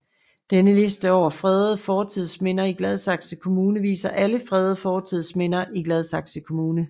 Denne liste over fredede fortidsminder i Gladsaxe Kommune viser alle fredede fortidsminder i Gladsaxe Kommune